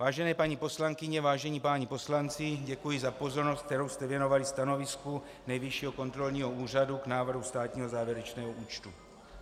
Vážené paní poslankyně, vážení páni poslanci, děkuji za pozornost, kterou jste věnovali stanovisku Nejvyššího kontrolního úřadu k návrhu státního závěrečného účtu.